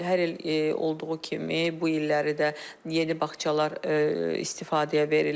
Hər il olduğu kimi bu illəri də yeni bağçalar istifadəyə verilir.